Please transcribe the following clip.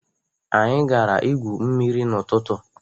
Anyị gara ígwú mmiri n'ụtụtụ.